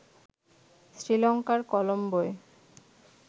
শ্রীলঙ্কার কলম্বোয়